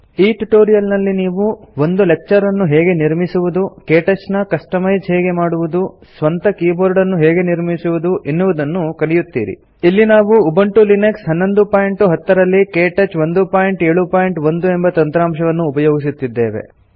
ಈ ಟ್ಯುಟೋರಿಯಲ್ ನಲ್ಲಿ ನೀವು ಒಂದು ಲೆಕ್ಚರ್ ಅನ್ನು ಹೇಗೆ ನಿರ್ಮಿಸುವುದು ಕೇಟಚ್ ನ ಕಸ್ತಮೈಜ್ ಹೇಗೆ ಮಾಡುವುದು ಸ್ವಂತ ಕೀಬೋರ್ಡ್ ಅನ್ನು ಹೇಗೆ ನಿರ್ಮಿಸುವುದು ಎನ್ನುವುದನ್ನು ಕಲಿಯುತ್ತೀರಿ ಇಲ್ಲಿ ನಾವು ಉಬುಂಟು ಲಿನಕ್ಸ್ 1110 ರಲ್ಲಿ ಕೇಟಚ್ 171 ಎಂಬ ತಂತ್ರಾಂಶವನ್ನು ಉಪಯೋಗಿಸುತ್ತೇವೆ